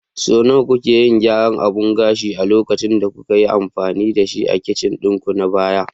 Sau nawa kuke yin gyaran abun gashin a lokacin da kuka yi amfani da shi a kicin ɗinku na baya?